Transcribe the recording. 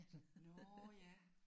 Nåh ja!